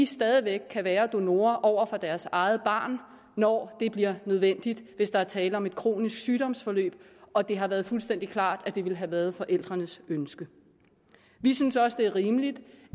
stadig væk kan være donorer over for deres eget barn når det bliver nødvendigt hvis der er tale om et kronisk sygdomsforløb og det har været fuldstændig klart at det ville have været forældrenes ønske vi synes også det er rimeligt